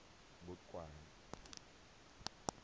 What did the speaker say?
boqwabi